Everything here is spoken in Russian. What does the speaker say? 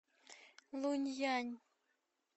лунъянь